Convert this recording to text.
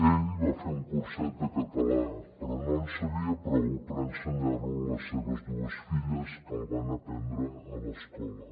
ell va fer un curset de català però no en sabia prou per ensenyar lo a les seves dues filles que el van aprendre a l’escola